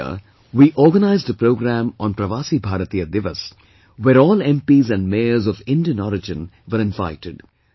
This year we organized a program on Pravasi Bharatiya Divas, where all MPs and Mayors of Indian origin were invited